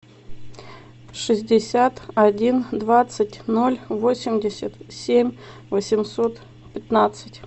шестьдесят один двадцать ноль восемьдесят семь восемьсот пятнадцать